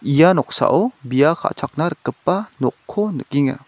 ia noksao bia ka·chakna rikgipa nokko nikenga.